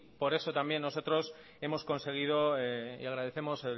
por eso también nosotros hemos conseguido y agradecemos